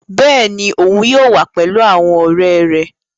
Bẹ́ẹ̀ni, oun yóò wa pẹlu awọn ọrẹ rẹ